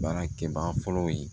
Baarakɛbaga fɔlɔ ye